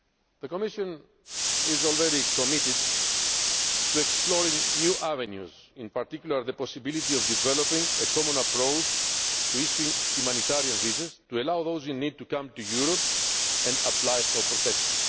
mechanism. The Commission is already committed to exploring new avenues, in particular the possibility of developing a common approach to issuing humanitarian visas to allow those in need to come to Europe and apply for